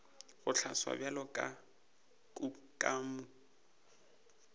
go hlaloswa bjalo ka kukamo